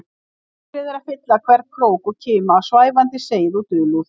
Myrkrið er að fylla hvern krók og kima af svæfandi seið og dulúð.